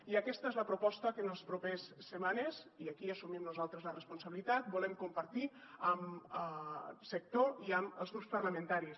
i aquesta és la proposta que en les propers setmanes i aquí assumim nosaltres la responsabilitat volem compartir amb el sector i amb els grups parlamentaris